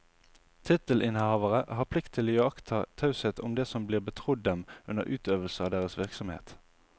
Tittelinnehavere har plikt til å iaktta taushet om det som blir betrodd dem under utøvelse av deres virksomhet.